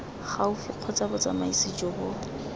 gaufi kgotsa botsamaisi jo bo